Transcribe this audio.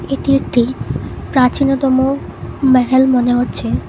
এটি একটি প্রাচীনতম মেহেল মনে হচ্ছে।